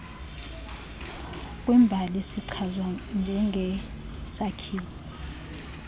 kwiimbali sichazwa njengesakhiwo